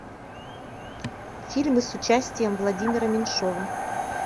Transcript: фильмы с участием владимира меньшова